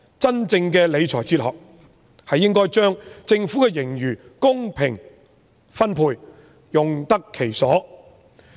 真正的理財哲學，是應該把政府的盈餘公平分配，用得其所。